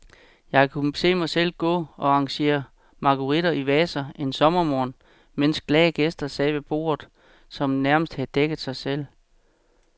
Jeg kunne se mig selv gå og arrangere marguritter i vaser en sommermorgen, mens glade gæster sad ved borde, som nærmest havde dækket sig selv.